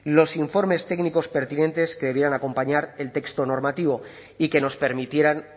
los informes técnicos pertinentes que debieran acompañar el texto normativo y que nos permitieran